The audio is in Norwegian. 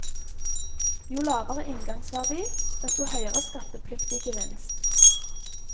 Jo lavere inngangsverdi, desto høyere skattepliktig gevinst.